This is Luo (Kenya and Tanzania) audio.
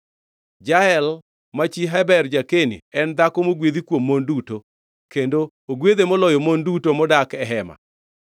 “Jael ma chi Heber ja-Keni en dhako mogwedhi kuom mon duto, kendo ogwedhe moloyo mon duto modak e hema.